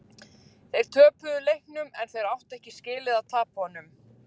Þeir töpuðu leiknum en þeir áttu ekki skilið að tapa honum.